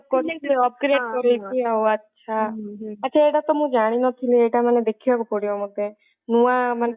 twitter ତାର develop କରୁଛି ଯେମିତି operate କରାଉଛି ଆଉ ଓଃହ ଆଛା ଆଛା ଏଟା ତ ମୁଁ ଜାଣିନଥିଳି ତାମାନେ ଦେଖିବାକୁ ପଡିବ ମୋତେ ନୂଆ ମାନେ ବଢିଆ ଗୋଟେ ବଢିଆ ହେଇଛି ତ twitter ମାନେ